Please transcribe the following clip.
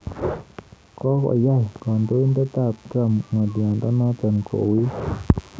Kokoyai kandoinatet ab Trump ng'alyanoto kouit